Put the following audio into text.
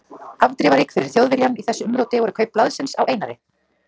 Afdrifarík fyrir Þjóðviljann í þessu umróti voru kaup blaðsins á Einari